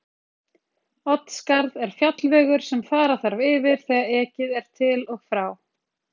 Oddskarð er fjallvegur sem fara þarf yfir þegar ekið er til og frá